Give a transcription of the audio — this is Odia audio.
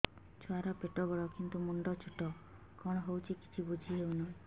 ଛୁଆର ପେଟବଡ଼ କିନ୍ତୁ ମୁଣ୍ଡ ଛୋଟ କଣ ହଉଚି କିଛି ଵୁଝିହୋଉନି